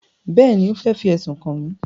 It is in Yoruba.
Bẹ́ẹ̀ni, ó fẹ́ fi ẹ̀sùn kàn mí